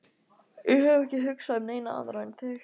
Ég hef ekki hugsað um neina aðra en þig.